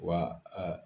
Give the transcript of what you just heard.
Wa a